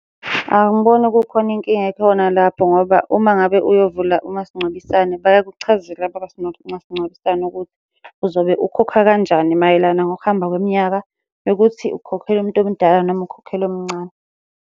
Angiboni kukhona inkinga ekhona lapho ngoba uma ngabe uyovula umasingcwabisane bayakuchazela abakwa masingcwabisane ukuthi uzobe ukhokha kanjani mayelana ngokuhamba kweminyaka, nokuthi ukhokhela umuntu omdala noma ukhokhela omncane.